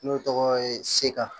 N'o tɔgɔ ye seka